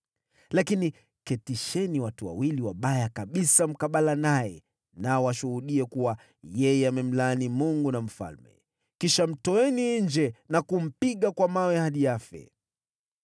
Lakini waketisheni watu wawili wabaya kabisa mkabala naye, nao washuhudie kuwa yeye amemlaani Mungu na mfalme. Kisha mtoeni nje na kumpiga kwa mawe hadi afe.”